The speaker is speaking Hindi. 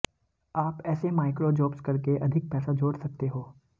आप ऐसे माइक्रो जॉब्स करके अधिक पैसा जोड़ सकते हो